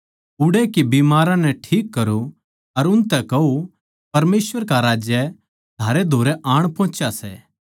उड़ै के बिमाराँ नै ठीक करो अर उनतै कहो परमेसवर का राज्य थारै धोरै आण पोहुच्या सै